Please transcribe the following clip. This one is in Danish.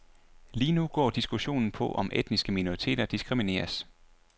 Lige nu går diskussionen på om etniske minoriteter diskrimineres.